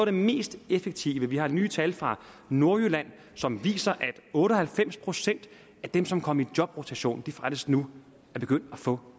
det mest effektive vi har nye tal fra nordjylland som viser at otte og halvfems procent af dem som kom i jobrotation faktisk nu er begyndt at få